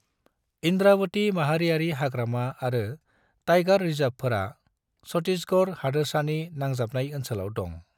इंद्रावती माहारियारि हाग्रामा आरो टाइगर रिजर्वफोरा छत्तीसगढ़ हादोरसानि नांजाबनाय ओनसोलाव दं।